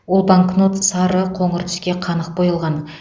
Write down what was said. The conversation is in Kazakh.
ол банкнот сары қоңыр түске қанық боялған